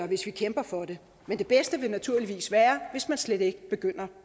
hvis vi kæmper for det men det bedste vil naturligvis være hvis man slet ikke begynder